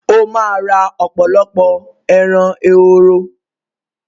Ó ma ra ọ̀pọ̀lọpọ̀ “ẹran ehoro”.